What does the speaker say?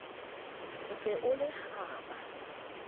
o se o le kgaba